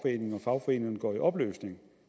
at fagforeningerne går i opløsning